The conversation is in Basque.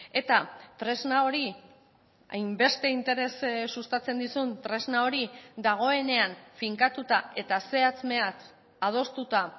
eta tresna hori hainbeste interes sustatzen dizun tresna hori dagoenean finkatuta eta zehatz mehatz adostuta